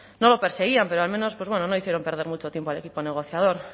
no lo perseguían pero al menos pues bueno no hicieron perder mucho tiempo al equipo negociador